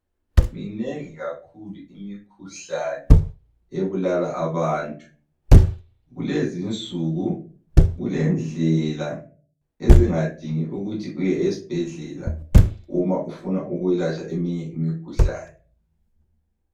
Minegi kakhulu imikhuhlane ebulala abantu, kulezinsuku kulendlela ezingadingi ukuthi uye esibhedlela uma ufuna ukuyelatshwa eminye imikhuhlane.